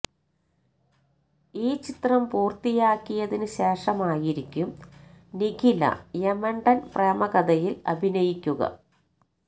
ഈ ചിത്രം പൂര്ത്തിയാക്കിയതിന് ശേഷമായിരിക്കും നിഖില യമണ്ടന് പ്രേമകഥയില് അഭിനയിക്കുക